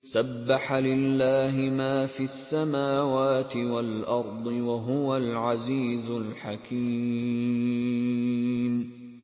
سَبَّحَ لِلَّهِ مَا فِي السَّمَاوَاتِ وَالْأَرْضِ ۖ وَهُوَ الْعَزِيزُ الْحَكِيمُ